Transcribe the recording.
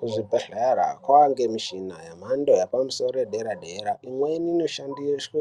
Kuzvibhedhlera kwaane mishina yemhando yepamusoro yedera-dera imweni inoshandiswa